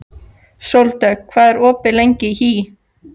Sóldögg, hvað er opið lengi í HÍ?